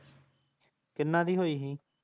ਕੀ ਨਾਂ ਦੀ ਹੋਈ ਹੀ